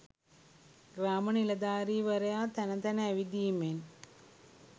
ග්‍රාම නිලධාරීවරයා තැන තැන ඇවිදීමෙන්